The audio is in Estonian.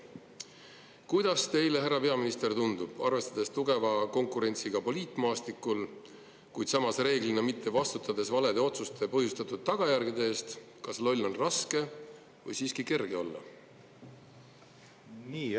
Kuidas teile, härra peaminister, tundub, arvestades tugevat konkurentsi poliitmaastikul, kuid reeglina mitte vastutades valede otsuste põhjustatud tagajärgede eest, kas loll on raske või siiski kerge olla?